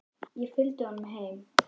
Ég fylgdi honum heim.